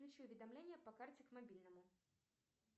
включи уведомление по карте к мобильному